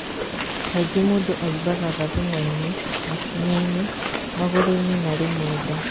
Kaingĩ mũndũ aimbaga gathũng'wa-inĩ, makinya-inĩ, magũrũ-inĩ na rĩmwe nda.